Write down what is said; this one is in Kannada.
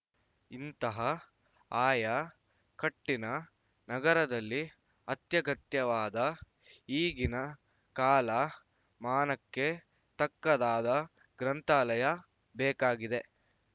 ಇಂತಹ ಆಯ ಕಟ್ಟಿನ ನಗರದಲ್ಲಿ ಅತ್ಯಗತ್ಯವಾದ ಈಗಿನ ಕಾಲ ಮಾನಕ್ಕೆ ತಕ್ಕದಾದ ಗ್ರಂಥಾಲಯ ಬೇಕಾಗಿದೆ